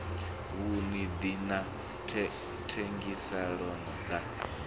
vhuṱun ḓi na thengiselonn ḓa